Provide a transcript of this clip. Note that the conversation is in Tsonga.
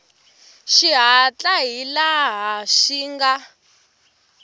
xihatla hi laha swi nga